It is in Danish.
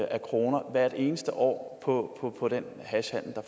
af kroner hvert eneste år år på den hashhandel der